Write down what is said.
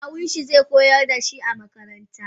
Kawunshi ze koyar dashi a makaranta.